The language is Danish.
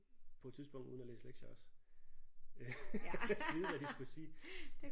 På et tidspunkt uden at læse lektier også vide hvad de skulle sige